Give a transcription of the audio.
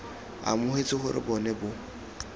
amogetse gore bo ne bo